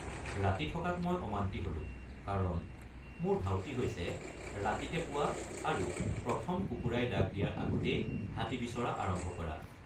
ৰাতি থকাত মই অমান্তি হলোঁ কাৰণ মোৰ ধাউতি হৈছে ৰাতিতে পোৱা আৰু প্ৰথম কুকুৰাই ডাক দিয়াৰ আগতেই হাতী বিচৰা আৰম্ভ কৰা।